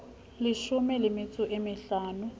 leshome le metso e mehlano